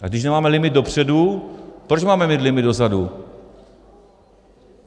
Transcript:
A když nemáme limit dopředu, proč máme mít limit dozadu?